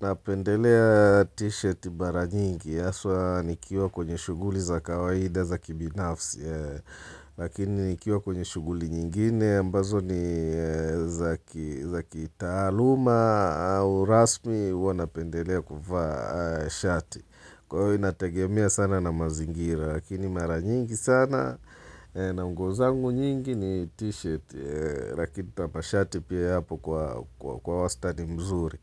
napendelea t-shirt mara nyingi, aswa nikiwa kwenye shughuli za kawaida za kibinafsi, lakini nikiwa kwenye shughuli nyingine, ambazo ni zakitaaluma au rasmi, huwa napendelea kuvaa shati. Kwa hiyo inategemea sana na mazingira Lakini mara nyingi sana na nguo zangu nyingi ni t-shirt Rakita mashati pia yapo kwa wastani mzuri.